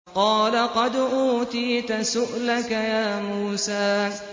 قَالَ قَدْ أُوتِيتَ سُؤْلَكَ يَا مُوسَىٰ